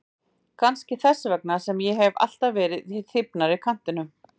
Kannski þess vegna sem ég hef alltaf verið í þybbnari kantinum.